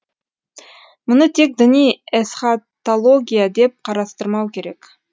мұны тек діни эсхатология деп қарастырмау керек